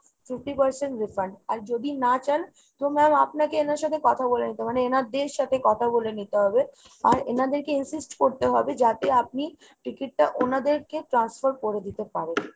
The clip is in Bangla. fifty percent refund আর যদি না চান তো আপনাকে এনার সাথে কথা বলে নিতে হবে। মানে এনাদের সাথে কথা বলে নিতে হবে। আর এনাদেরকে insist করতে হবে যাতে আপনি ticket টা ওনাদেরকে transfer করে দিতে পারেন।